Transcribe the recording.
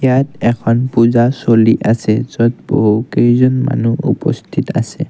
ইয়াত এখন পূজা চলি আছে য'ত বহু কেইজন মানুহ উপস্থিত আছে।